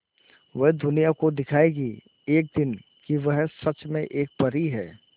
वह दुनिया को दिखाएगी एक दिन कि वह सच में एक परी है